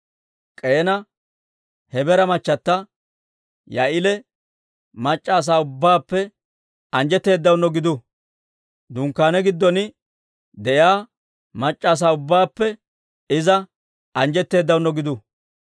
«K'eena Hebeera machchata Yaa'eela mac'c'a asaa ubbaappe anjjetteedaano gidu. Dunkkaane giddon de'iyaa mac'c'a asaa ubbaappe iza anjjetteedano gidu.